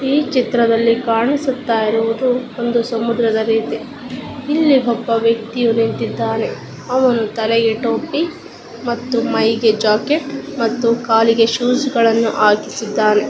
ಈ ಚಿತ್ರದಲ್ಲಿ ಕಾಣಿಸುತ್ತಾ ಇರುವುದು ಒಂದು ಸಮುದ್ರದ ರೀತಿ ಇಲ್ಲಿ ಒಬ್ಬ ವ್ಯಕ್ತಿಯು ನಿಂತಿದ್ದಾನೆ ಅವನು ತಲೆಗೆ ಟೋಪಿ ಮತ್ತು ಮೈಗೆ ಜಾಕೆಟ್ ಮತ್ತು ಕಾಲಿಗೆ ಶ್ಯುಜ್ ಗಳನ್ನು ಹಾಕಿದ್ದಾನೆ.